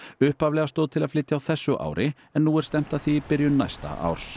upphaflega stóð til að flytja á þessu ári en nú er stefnt að því í byrjun næsta árs